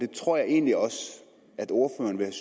tror jeg egentlig også at ordføreren ville